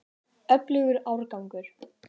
Öflugur árgangur.